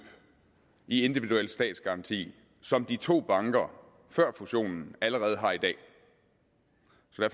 i individuel statsgaranti som de to banker før fusionen allerede har i dag